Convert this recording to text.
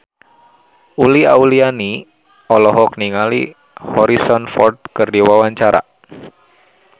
Uli Auliani olohok ningali Harrison Ford keur diwawancara